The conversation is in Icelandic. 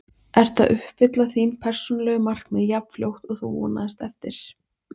Ertu að uppfylla þín persónulegu markmið jafn fljótt og þú vonaðist eftir?